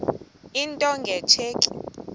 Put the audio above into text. into nge tsheki